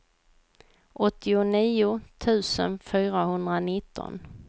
åttionio tusen fyrahundranitton